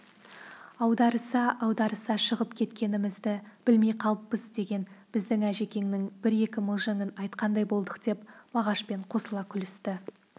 аударыса-аударыса шығып кеткенімізді білмей қалыппыз деген біздің әжекеңнің бір-екі мылжыңын айтқандай болдық деп мағашпен қосыла күлісті